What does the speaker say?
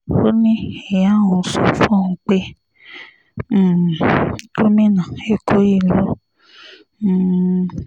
ó ní ìyá òun sọ fóun pé um gómìnà èkó yìí ló um bí òun